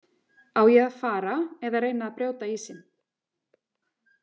Á ég að fara eða reyna að brjóta ísinn?